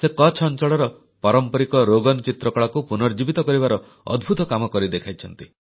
ସେ କଚ୍ଛ ଅଂଚଳର ପାରମ୍ପରିକ ରୋଗନ୍ ଚିତ୍ରକଳାକୁ ପୁନର୍ଜୀବିତ କରିବାର ଅଦ୍ଭୂତ କାମ କରିଦେଖାଇଛନ୍ତି